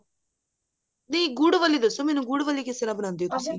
ਨਹੀਂ ਗੁੜ ਵਾਲੀ ਦਸੋ ਮੈਨੂੰ ਗੁੜ ਵਾਲੀ ਕਿਸ ਤਰ੍ਹਾਂ ਬਣਾਉਂਦੇ ਹੋ